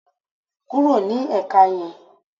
Kúrò ní èka yan